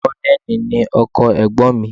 Kọ́nẹ̀lì ni ọkọ ẹ̀gbọ́n mi